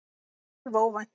Alveg óvænt!